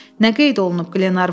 Nə qeyd olunub?